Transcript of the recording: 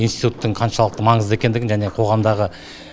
институттың қаншалықты маңызды екендігін және қоғамдағы